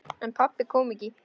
En pabbi kom ekki.